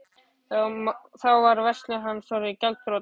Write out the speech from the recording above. Þá var verslun hans orðin gjaldþrota.